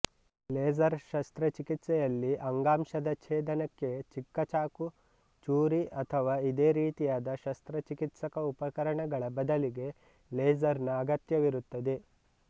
laser ಶಸ್ತ್ರಚಿಕಿತ್ಸೆಯಲ್ಲಿ ಅಂಗಾಂಶದ ಛೇದನಕ್ಕೆ ಚಿಕ್ಕಚಾಕು ಚೂರಿಅಥವಾ ಇದೇ ರೀತಿಯಾದ ಶಸ್ತ್ರಚಿಕಿತ್ಸಕ ಉಪಕರಣಗಳ ಬದಲಿಗೆ ಲೇಸರ್ ನ ಅಗತ್ಯವಿರುತ್ತದೆ